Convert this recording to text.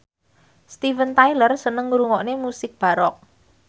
Steven Tyler seneng ngrungokne musik baroque